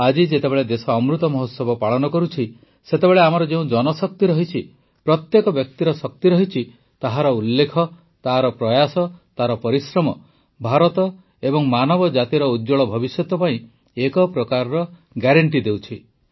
ଆଜି ଯେତେବେଳେ ଦେଶ ଅମୃତ ମହୋତ୍ସବ ପାଳନ କରୁଛି ସେତେବେଳେ ଆମର ଯେଉଁ ଜନଶକ୍ତି ରହିଛି ପ୍ରତ୍ୟେକ ବ୍ୟକ୍ତିର ଶକ୍ତି ରହିଛି ତାହାର ଉଲ୍ଲେଖ ତାର ପ୍ରୟାସ ତାର ପରିଶ୍ରମ ଭାରତ ଏବଂ ମାନବ ଜାତିର ଉଜ୍ଜ୍ୱଳ ଭବିଷ୍ୟତ ପାଇଁ ଏକ ପ୍ରକାର ଗ୍ୟାରେଣ୍ଟି ଦେଉଛି